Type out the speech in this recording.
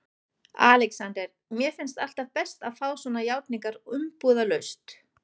ALEXANDER: Mér finnst alltaf best að fá svona játningar umbúðalaust.